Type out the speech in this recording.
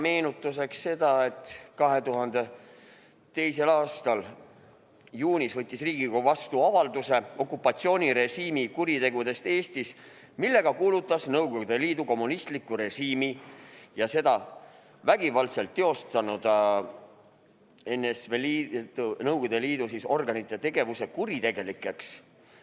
Meenutuseks ütlen seda, et 2002. aasta juunis võttis Riigikogu vastu avalduse "Okupatsioonirežiimi kuritegudest Eestis", millega kuulutas Nõukogude Liidu kommunistliku režiimi ja seda vägivaldselt teostanud NSV Liidu organite tegevuse kuritegelikuks.